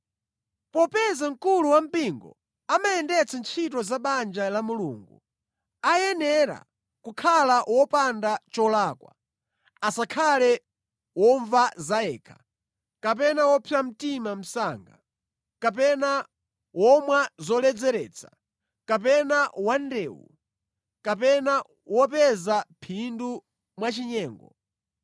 Popeza mkulu wa mpingo amayendetsa ntchito za banja la Mulungu, ayenera kukhala wopanda cholakwa, asakhale womva zayekha, kapena wopsa mtima msanga, kapena womwa zoledzeretsa, kapena wandewu, kapena wopeza phindu mwachinyengo.